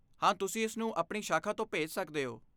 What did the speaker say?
ਹਾਂ, ਤੁਸੀਂ ਇਸਨੂੰ ਆਪਣੀ ਸ਼ਾਖਾ ਤੋਂ ਭੇਜ ਸਕਦੇ ਹੋ।